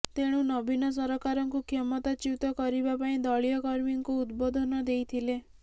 ତେଣୁ ନବୀନ ସରକାରଙ୍କୁ କ୍ଷମତାଚ୍ୟୁତ କରିବା ପାଇଁ ଦଳୀୟ କର୍ମୀଙ୍କୁ ଉଦବୋଧନ ଦେଇଥିଲେ